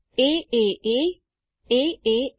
એએ aaa